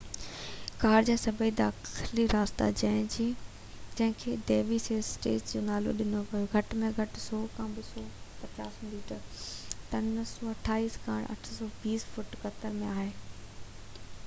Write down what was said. غار جا سڀئي داخلي رستا، جنهن کي دي سيون سسٽرز جو نالو ڏنو ويو هو، گهٽ ۾ گهٽ 100 کان 250 ميٽر 328 کان 820 فوٽ قطر ۾ آهن